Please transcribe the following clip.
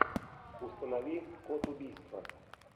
установи код убийства